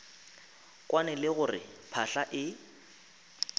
kwane le gore phahla e